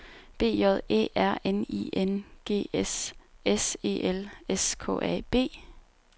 B J Æ R N I N G S S E L S K A B